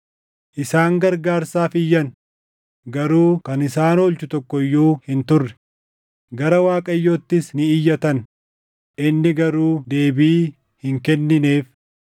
Isaan gargaarsaaf iyyan; garuu kan isaan oolchu tokko iyyuu hin turre; gara Waaqayyoottis ni iyyatan; inni garuu deebii hin kennineef.